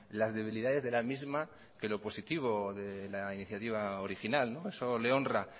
las debilidades de la misma que lo positivo de la iniciativa original eso le honra